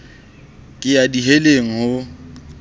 ke ya di heleng ho